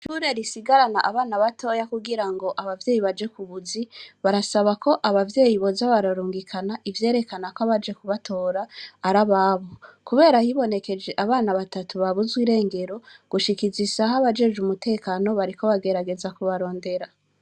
Ishure risigarana abana batoya kugira ngo abavyeyi baje ku buzi, barasaba ko abavyeyi boza bararungikana ivyerekana ko abaje kubatora ari ababo. Kubera hibonekeje abana batatu babuzwe irengero, gushika izi saha abajejwe umutekano bariko bagerageza kubarondera.